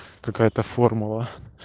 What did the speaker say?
какая-то формула